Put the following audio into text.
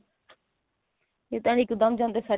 ਇਹ ਤਾਂ ਇੱਕਦਮ ਜਾਂਦੇ set